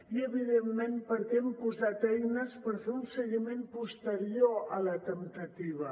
i evidentment perquè hem posat eines per fer un seguiment posterior a la temptativa